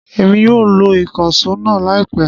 Emi yóò lo ikanṣo náa laipẹ